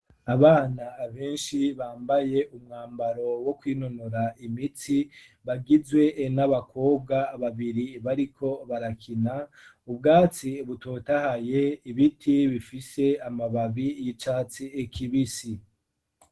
Abana benshi bambaye umwambaro wo kwinonora imitsi, bagizwe n'abakobwa babiri bariko barakina, ubwatsi butotahaye, ibiti bifise amababi y'icatsi kibisi.